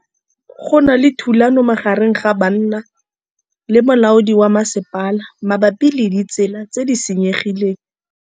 Go na le thulanô magareng ga banna le molaodi wa masepala mabapi le ditsela tse di senyegileng.